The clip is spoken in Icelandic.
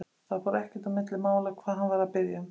Það fór ekkert á milli mála hvað hann var að biðja um.